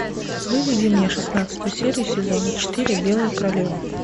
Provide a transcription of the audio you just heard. выведи мне шестнадцатую серию сезона четыре белая королева